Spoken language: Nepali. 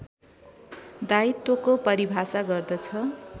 दायित्वको परिभाषा गर्दछ